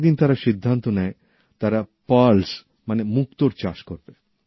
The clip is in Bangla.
একদিন তারা সিদ্ধান্ত নেয় তারা পার্ল মানে মুক্তোর চাষ করবে